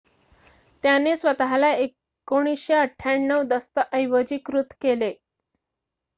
त्याने स्वत:ला 1998 दस्तऐवजीकृत केले